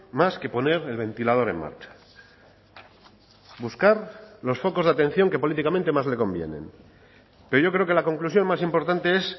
más que poner el ventilador en marcha buscar los focos de atención que políticamente más le convienen pero yo creo que la conclusión más importante es